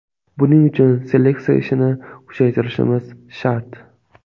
Buning uchun seleksiya ishini kuchaytirishimiz shart.